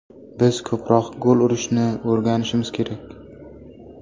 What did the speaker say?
Biz ko‘proq gol urishni o‘rganishimiz kerak.